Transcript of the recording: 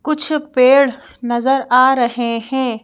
कुछ पेड़ नजर आ रहे हैं।